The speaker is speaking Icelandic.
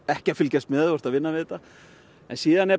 ekki fylgjast með ef þú ert að vinna við þetta en síðan er